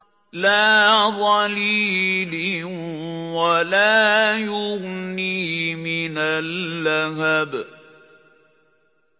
لَّا ظَلِيلٍ وَلَا يُغْنِي مِنَ اللَّهَبِ